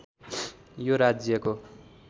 यो राज्यको